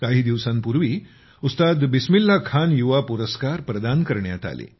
काही दिवसांपूर्वी उस्ताद बिस्मिल्ला खान युवा पुरस्कार प्रदान केले